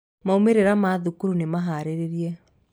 Maumĩrĩra ma thukuru nĩ maharĩrĩrie.